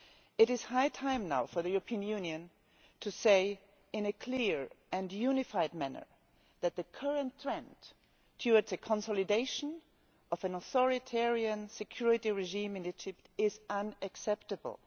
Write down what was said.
It is high time for the European Union to say, in a clear and unified manner, that the current trend towards the consolidation of an authoritarian security regime in Egypt is unacceptable.